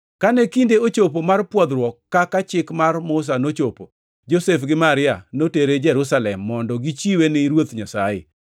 Kane kinde ochopo mar pwodhruok kaka Chik mar Musa nochopo, Josef gi Maria notere Jerusalem mondo gichiwe ne Ruoth Nyasaye